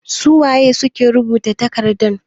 Su wane ne suke rubuta takardan?